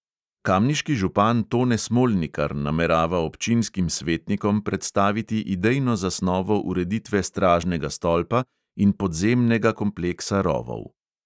Kamniški župan tone smolnikar namerava občinskim svetnikom predstaviti idejno zasnovo ureditve stražnega stolpa in podzemnega kompleksa rovov.